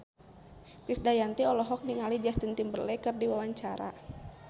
Krisdayanti olohok ningali Justin Timberlake keur diwawancara